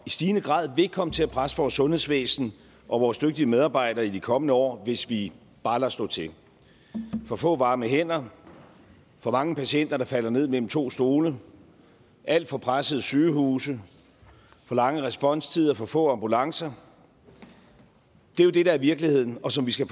i stigende grad vil komme til at presse vores sundhedsvæsen og vores dygtige medarbejdere i de kommende år hvis vi bare lader stå til for få varme hænder for mange patienter der falder ned mellem to stole alt for pressede sygehuse for lange responstider for få ambulancer er jo det der er virkeligheden og som vi skal